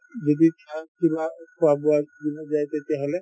যদি তেতিয়াহলে